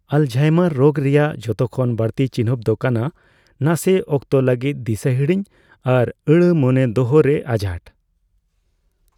Alzheimer ᱨᱳᱜᱽ ᱨᱮᱭᱟᱜ ᱡᱷᱚᱛᱚ ᱠᱷᱚᱱ ᱵᱟᱹᱲᱛᱤ ᱪᱤᱱᱦᱟᱹᱯ ᱫᱚ ᱠᱟᱱᱟ ᱱᱟᱥᱮ ᱚᱠᱛᱚ ᱞᱟᱹᱜᱤᱫᱫᱤᱥᱟᱹ ᱦᱤᱲᱤᱧ ᱟᱨ ᱟᱹᱲᱟᱹ ᱢᱚᱱᱮ ᱫᱚᱦᱚ ᱨᱮ ᱟᱸᱡᱷᱟᱴ ᱾